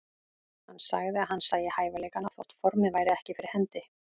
Hann sagði að hann sæi hæfileikana þótt formið væri ekki fyrir hendi.